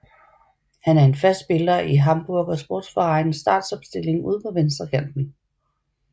Han er en fast spiller i Hamburger SV startopstilling ude på venstre kanten